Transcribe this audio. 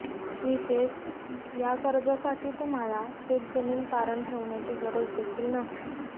विशेष या कर्जासाठी तुम्हाला शेतजमीन तारण ठेवण्याची गरज देखील नाही